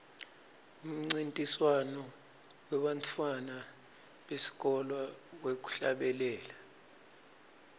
umncintiswano webantfwana besikolwa wekuhlabela